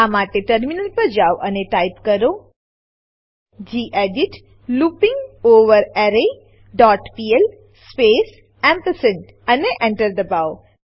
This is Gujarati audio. આ માટે ટર્મિનલ પર જાવ અને ટાઈપ કરો gedit looping over array dot PL space ampersand અને Enter દબાવો